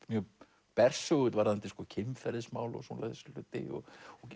mjög bersögull varðandi kynferðismál og svoleiðis hluti og